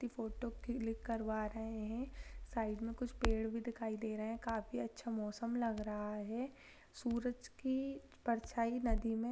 अपनी photo click करवा रहे हैं साइड में कुछ पेड़ भी दिखाई दे रहे हैं काफी अच्छा मौसम लग रहा है सूरज की परछाई नदी में --